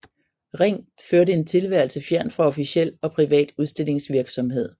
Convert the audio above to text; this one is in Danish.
Ring førte en tilværelse fjernt fra officiel og privat udstillingsvirksomhed